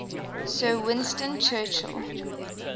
sir winston churchill